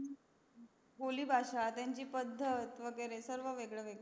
बोली भाषा त्यांची पद्धत वागेरे सगड वेगड वेगड